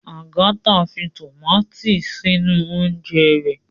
Agatha fí tomati sínú oúnje rẹ